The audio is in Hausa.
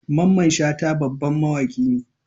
Mamman Shata babban mawaki ne.